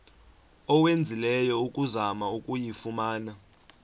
owenzileyo ukuzama ukuyifumana